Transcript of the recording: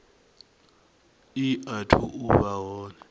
i athu u vha hone